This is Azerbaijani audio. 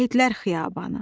Şəhidlər xiyabanı.